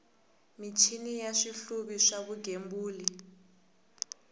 michini na swihluvi swa vugembuli